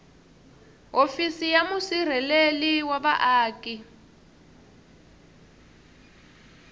hofisi ya musirheleli wa vaaki